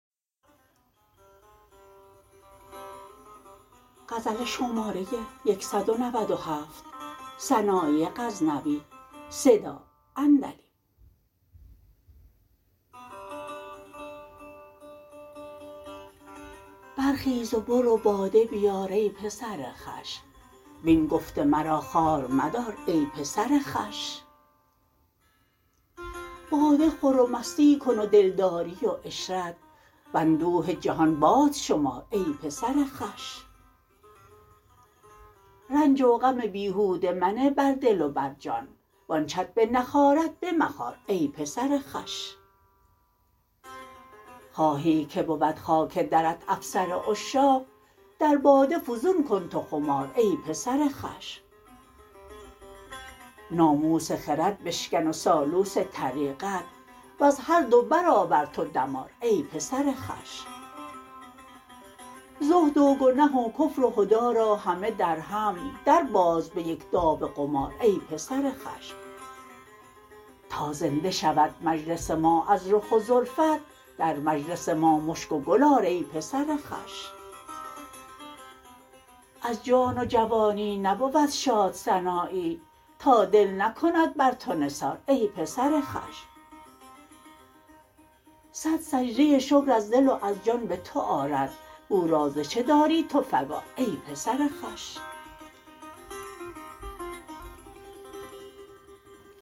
برخیز و برو باده بیار ای پسر خوش وین گفت مرا خوار مدار ای پسر خوش باده خور و مستی کن و دلداری و عشرت و اندوه جهان باد شمار ای پسر خوش رنج و غم بیهوده منه بر دل و بر جان و آن چت بنخارد بمخار ای پسر خوش خواهی که بود خاک درت افسر عشاق در باده فزون کن تو خمار ای پسر خوش ناموس خرد بشکن و سالوس طریقت وز هر دو برآور تو دمار ای پسر خوش زهد و گنه و کفر و هدی را همه در هم در باز به یک داو قمار ای پسر خوش تا زنده شود مجلس ما از رخ و زلفت در مجلس ما مشک و گل آر ای پسر خوش از جان و جوانی نبود شاد سنایی تا دل نکند بر تو نثار ای پسر خوش صد سجده شکر از دل و از جان به تو آرد او را ز چه داری تو فگار ای پسر خوش